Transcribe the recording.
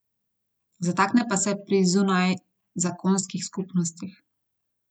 Zatakne pa se pri zunajzakonskih skupnostih.